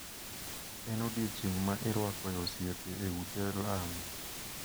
En odiechieng` ma irwako e osiepe e ute lamo.